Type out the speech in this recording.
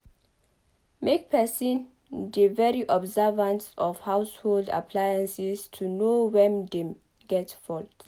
Make person dey de very observant of household appliances to know when dem get fault